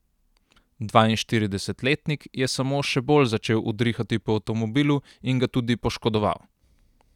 Dvainštiridesetletnik je samo še bolj začel udrihati po avtomobilu in ga tudi poškodoval.